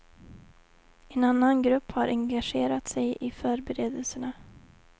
En annan grupp har engagerat sig i föreberedelserna.